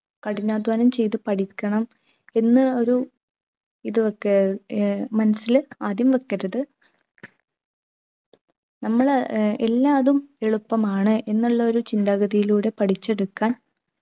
കഠിനാദ്ധ്വാനം ചെയ്ത് പഠിക്കണം പിന്നെ ഒരു ഇത് ഒക്കെ ഏർ മനസ്സിൽ ആദ്യം വെക്കരുത് നമ്മള് ഏർ എല്ലാതും എളുപ്പമാണ് എന്നുള്ള ഒരു ചിന്താഗതിയിലൂടെ പഠിച്ചെടുക്കാൻ